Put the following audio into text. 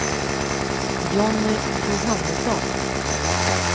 Johnny Johannesson